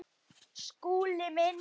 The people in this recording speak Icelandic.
Skúli minn!